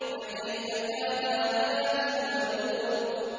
فَكَيْفَ كَانَ عَذَابِي وَنُذُرِ